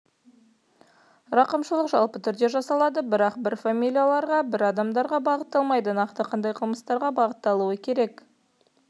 рақымшылық жалпы түрде жасалады нақты бір фамилияларға бір адамдарға бағытталмайды нақты қандай қылмыстарға бағытталуы керек